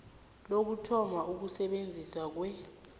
lokuthoma ukusebenza kwe